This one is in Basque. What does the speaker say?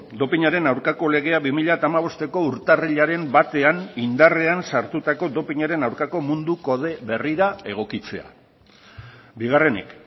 dopinaren aurkako legea bi mila hamabosteko urtarrilaren batean indarrean sartutako dopinaren aurkako mundu kode berrira egokitzea bigarrenik